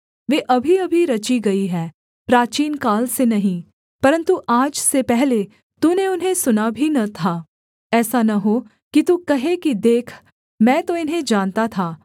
वे अभीअभी रची गई हैं प्राचीनकाल से नहीं परन्तु आज से पहले तूने उन्हें सुना भी न था ऐसा न हो कि तू कहे कि देख मैं तो इन्हें जानता था